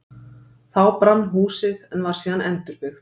Þá brann húsið, en var síðan endurbyggt.